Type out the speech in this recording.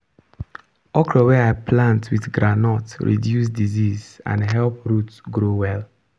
okra wey i plant with groundnut reduce disease and help root grow well.